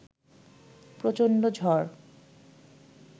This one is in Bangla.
প্রচণ্ড ঝড়